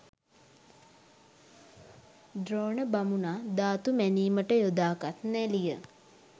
ද්‍රෝණ බමුණා ධාතු මැනීමට යොදාගත් නැළිය